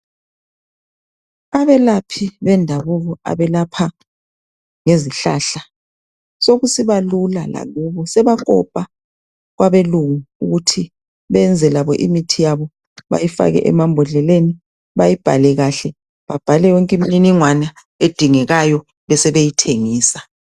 Abelaphi bendabuko abelapha ngezihlahla sokusiba lula lakubo sebakopa kwebelungu ukuthi beyenze labo imithi yabo beyifake emabhodleleni bayibhale kahle bebhale yonke imniningwana edingekayo besebeyithengusa.